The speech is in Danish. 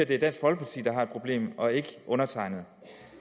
det dansk folkeparti der har et problem og ikke undertegnede